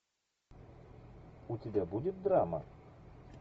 у тебя будет драма